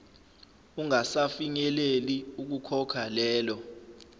ungasafinyeleli ukukhokha lelo